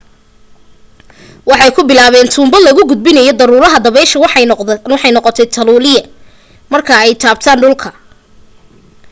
waxay ku bilaaben tuunbo lagagudbinayo daruuraha dabeesha waxayna noqotay taluuliye marka ay taabtan dhulka